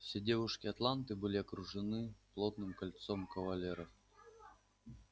все девушки атланты были окружены плотным кольцом кавалеров